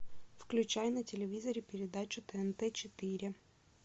включай на телевизоре передачу тнт четыре